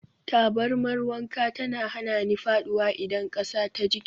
Tabarmar wanka tana hana ni faɗuwa idan ƙasa ta jike.